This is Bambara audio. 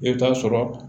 I bɛ taa sɔrɔ